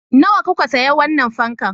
Nawa kuka sayi wannan fankan?